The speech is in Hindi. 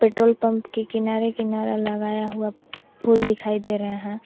पेट्रोल पंप के किनारे किनारा लगाया हुआ फूल दिखाई दे रहे हैं।